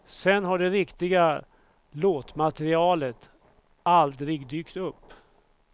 Sen har det riktiga låtmaterialet aldrig dykt upp.